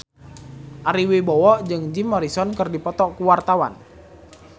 Ari Wibowo jeung Jim Morrison keur dipoto ku wartawan